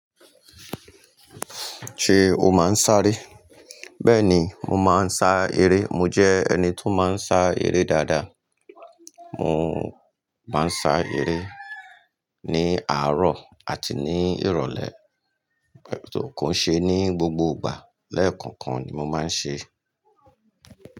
Ṣé o máa ń sá eré? Bẹ́ẹ̀ni, mo máa ń sá eré. Mo jẹ́ ẹni tó máa ń sá eré dáadáa. Mo máa ń sá eré ní àárọ̀ àti ní ìrọ̀lẹ́, kò kii ṣe ní gbogbo ìgbà. Lẹ́ẹ̀kọ̀kan ni mo máa ń ṣe é.